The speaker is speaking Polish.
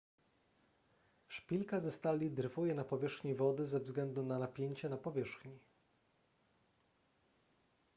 szpilka ze stali dryfuje na powierzchni wody ze względu na napięcie na powierzchni